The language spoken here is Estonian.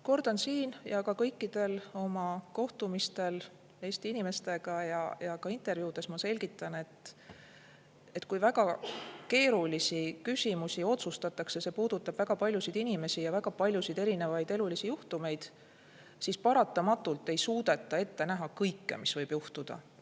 Kordan siin ja ka kõikidel oma kohtumistel Eesti inimestega ja intervjuudes ma selgitan, et kui väga keerulisi küsimusi otsustatakse ja see puudutab väga paljusid inimesi ja väga paljusid erinevaid elulisi juhtumeid, siis paratamatult ei suudeta ette näha kõike, mis võib juhtuda.